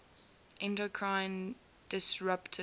endocrine disruptors